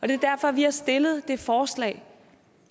det er derfor vi har stillet det forslag